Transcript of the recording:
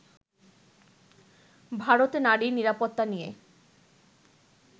ভারতে নারী নিরাপত্তা নিয়ে